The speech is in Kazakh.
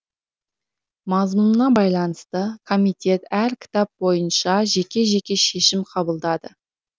мазмұнына байланысты комитет әр кітап бойынша жеке жеке шешім қабылдады